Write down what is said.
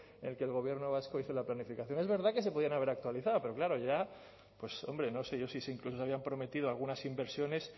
en que el gobierno vasco hizo la planificación es verdad que se podían haber actualizado pero claro ya pues hombre no sé yo si incluso habían prometido algunas inversiones